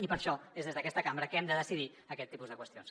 i per això és des d’aquesta cambra que hem de decidir aquest tipus de qüestions